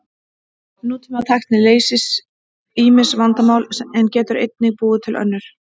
Nútímatækni leysir ýmis vandamál en getur einnig búið til önnur.